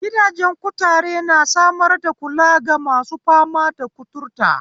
Gidajen kutare, na samar da kula gamasu fama da kuturta,